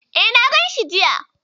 E, na ganshi jiya.